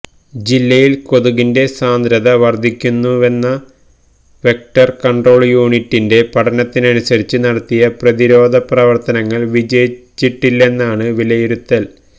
ജില്ലയില് കൊതുകിന്റെ സാന്ദ്രത വര്ദ്ധിക്കുന്നുവെന്ന വെക്ടര് കണ്ട്രോള് യൂണിറ്റിന്റെ പഠനത്തിനനുസരിച്ച് നടത്തിയ പ്രതിരോധപ്രവര്ത്തനങ്ങള് വിജയിച്ചിട്ടില്ലെന്നാണ് വിലയിരുത്തല്്